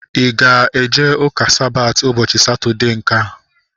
Ị ga-eje ụka Sabati ụbọchị Satọdee nkea?